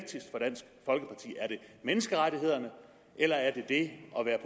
menneskerettighederne eller er det at være